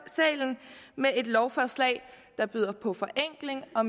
salen med et lovforslag der byder på forenkling og